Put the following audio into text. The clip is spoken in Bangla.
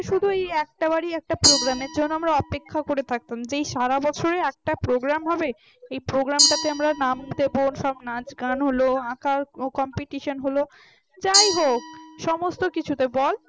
শুধু একটা বাড়ি একটা program এর জন্য আমরা অপেক্ষা করে থাকতাম যে সারা বছরে একটা প্রোগ্রাম হবে এ program টাতে আমরা নাম দেবো সব নাচ গান হল আঁকা competition হল যাই হোক সমস্ত কিছুতে বল